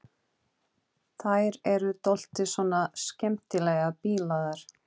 Þær eru dálítið svona skemmtilega bilaðar.